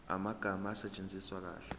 amagama asetshenziswe kahle